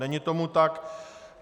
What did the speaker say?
Není tomu tak.